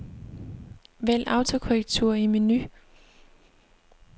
Vælg autokorrektur i menu.